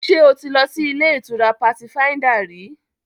Ṣé o ti lọ sí ilé-ìtura Patifáíńdà rí?